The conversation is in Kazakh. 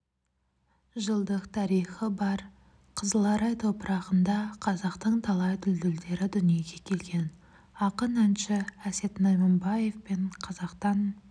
жылдық тарихы бар қызыларай топырағында қазақтың талай дүлділдері дүниеге келген ақын әнші әсет найманбаев пен қазақтан